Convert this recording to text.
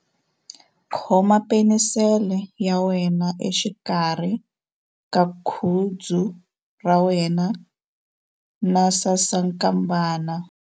Khoma penisele ya wena exikarhi ka khudzu ra wena na sasankambana.